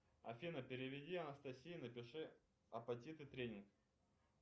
афина переведи анастасия напиши апатиты тренинг